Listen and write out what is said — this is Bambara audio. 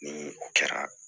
Ni o kɛra